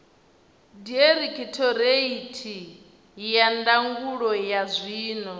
dairekhithoreithi ya ndangulo ya zwiwo